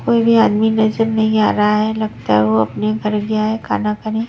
कोई भी आदमी नजर नहीं आ रहा है लगता है वो अपने घर गया है खाना खाने --